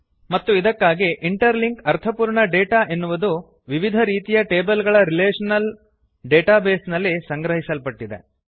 ಮತ್ತು ಇದಕ್ಕಾಗಿ interlink ಅರ್ಥಪೂರ್ಣ ಡೇಟಾ ಎನ್ನುವುದು ವಿವಿಧ ರೀತಿಯ ಟೇಬಲ್ ಗಳ ರಿಲೇಶನಲ್ ಡೇಟಾಬೇಸ್ ನಲ್ಲಿ ಸಂಗ್ರಹಿಸಲ್ಪಟ್ಟಿದೆ